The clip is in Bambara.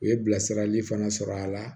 U ye bilasirali fana sɔrɔ a la